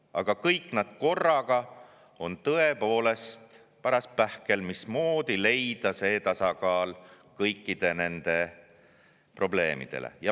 Aga kõik nad korraga on tõepoolest paras pähkel, sest on vaja leida see tasakaal kõikide nende probleemide puhul.